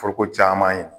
Foroko caman ye